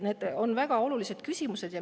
Need on väga olulised küsimused.